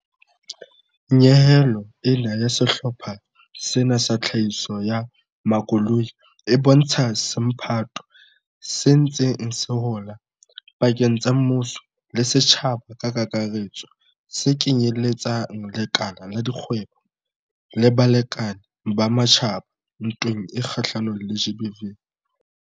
Nyehelo ena ya sehlopha sena sa tlhahiso ya makoloi e bontsha semphato se ntseng se hola pakeng tsa mmuso le setjhaba ka kakaretso, se kenyeletsang lekala la dikgwebo le balekane ba matjhaba, ntweng e kgahlanong le GBVF.